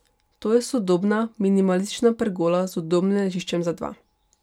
To je sodobna minimalistična pergola z udobnim ležiščem za dva.